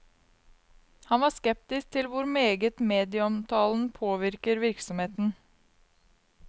Han var skeptisk til hvor meget medieomtalen påvirker virksomheten.